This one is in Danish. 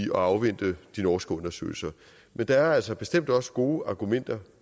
at afvente de norske undersøgelser men der er altså bestemt også gode argumenter